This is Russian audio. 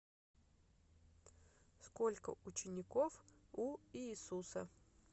сколько учеников у иисуса